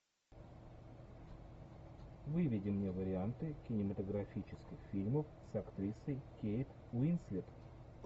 выведи мне варианты кинематографических фильмов с актрисой кейт уинслет